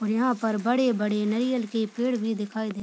और यहाँ पर बड़े-बड़े नारियल के पेड़ भी दिखाई दे --